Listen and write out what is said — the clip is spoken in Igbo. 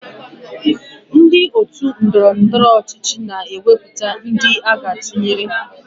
Ndị otu ndọrọndọrọ ọchịchị na-ewepụta ndị aga atụnyere